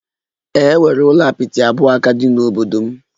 Ee, e nwere ụlọ apịtị abụọ ka dị n'obodo m